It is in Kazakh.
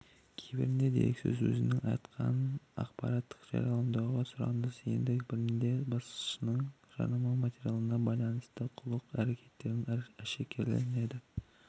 кейбірінде дереккөз өзінің айтқан ақпаратын жарияламауды сұраса енді бірінде басшының жарнама материалына байланысты қулық әрекеттері әшкереленеді